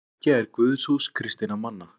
Kirkja er guðshús kristinna manna.